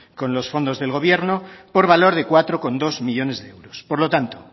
con los fondos del gobierno por valor de cuatro coma dos millónes de euros por lo tanto